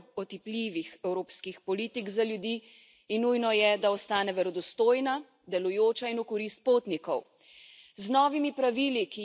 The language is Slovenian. Vizumska politika je ena najbolj otipljivih evropskih politik za ljudi in nujno je, da ostane verodostojna, delujoča in v korist potnikov.